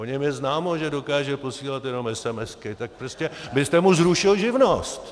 O něm je známo, že dokáže posílat jenom esemesky, tak prostě byste mu zrušil živnost.